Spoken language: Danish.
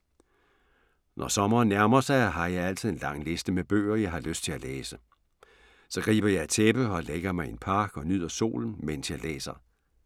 Når sommeren nærmer sig har jeg altid en lang liste med bøger, jeg har lyst til at læse. Så griber jeg et tæppe og lægger mig i en park og nyder solen, mens jeg læser.